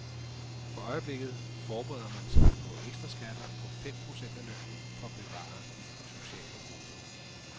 For øjeblikket forbereder man sig på ekstraskatter på fem procent af lønnen, for at bevare de sociale goder.